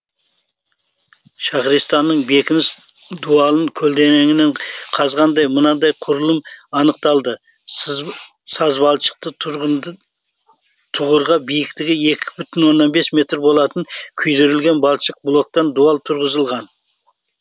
шахристанның бекініс дуалын көлденеңінен қазғанда мынадай құрылым анықталды сазбалшықты түғырға биіктігі екі бүтін оннан бес метр болатын күйдірілген балшық блоктан дуал тұрғызылған